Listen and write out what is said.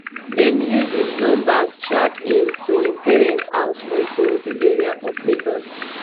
dem use di numbers track him to im parents house for ikorodu area of lagos.